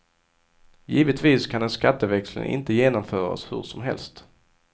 Givetvis kan en skatteväxling inte genomföras hur som helst.